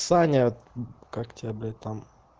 саня как тебя блять там